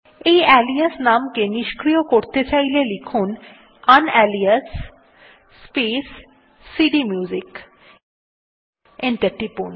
এই আলিয়াস নাম কে নিস্ক্রিয় করতে চাইলে টাইপ করুন ইউনালিয়াস স্পেস সিডিএমইউজিক এবং এন্টার টিপুন